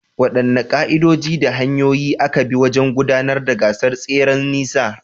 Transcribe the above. Waɗanne ka’idoji da hanyoyin aka bi wajen gudanar da gasar tseren nisa?